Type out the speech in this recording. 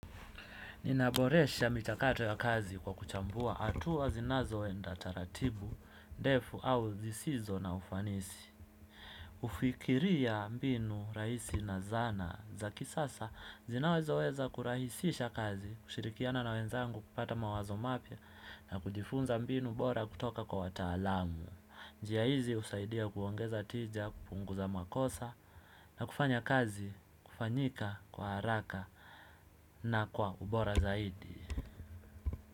Ninaboresha michakato ya kazi kwa kuchambua hatua zinazoenda taratibu, ndefu au zisizo na ufanisi. Kufikiria mbinu, rahisi na zana za kisasa zinazoweza kurahisisha kazi, kushirikiana na wenzangu kupata mawazo mapya na kujifunza mbinu bora kutoka kwa wataalamu. Njia hizi husaidia kuongeza tija, kupunguza makosa na kufanya kazi kufanyika kwa haraka na kwa ubora zaidi.